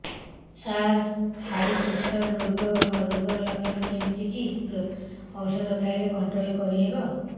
ସାର high pressure ରୋଗର ଲଖଣ କେମିତି କି ଓଷଧ ଖାଇଲେ କଂଟ୍ରୋଲ କରିହେବ